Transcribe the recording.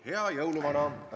Hea jõuluvana!